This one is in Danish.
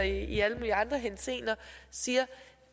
i alle mulige andre henseender siger